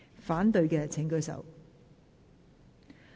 反對的請舉手。